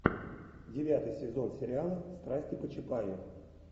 девятый сезон сериала страсти по чапаю